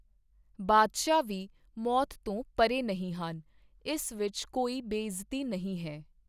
ਬਾਦਸ਼ਾਹ ਵੀ ਮੌਤ ਤੋਂ ਪਰੇ ਨਹੀਂ ਹਨ ਇਸ ਵਿੱਚ ਕੋਈ ਬੇਇੱਜ਼ਤੀ ਨਹੀਂ ਹੈ।